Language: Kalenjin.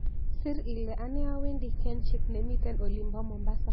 Sir ile anee awendi kenchic nemiten olinbo mombasa